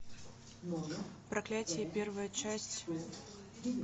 проклятье первая часть